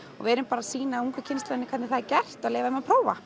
við erum bara að sýna ungu kynslóðinni hvernig það er gert og leyfa þeim að prófa